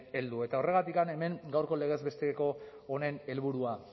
heldu eta horregatik hemen gaurko legez besteko honen helburua